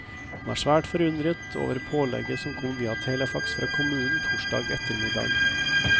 Han er svært forundret over pålegget som kom via telefax fra kommunen torsdag ettermiddag.